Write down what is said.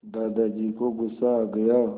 दादाजी को गुस्सा आ गया